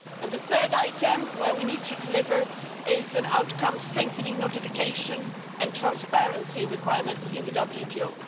The third item where we need to deliver is an outcome strengthening notification and transparency requirements in the